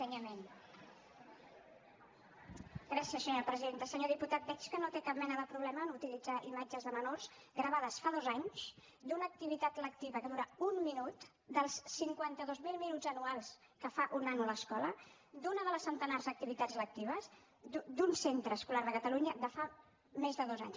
senyor diputat veig que no té cap mena de problema a utilitzar imatges de menors gravades fa dos anys d’una activitat lectiva que dura un minut dels cinquanta dos mil minuts anuals que fa un nano a l’escola d’una dels centenars d’activitats lectives d’un centre escolar de catalunya de fa més de dos anys